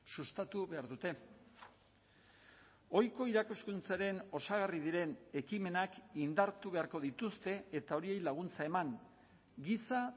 sustatu behar dute ohiko irakaskuntzaren osagarri diren ekimenak indartu beharko dituzte eta horiei laguntza eman giza